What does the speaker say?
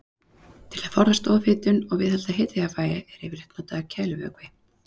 Til að forðast ofhitun og viðhalda hitajafnvægi er yfirleitt notaður kælivökvi.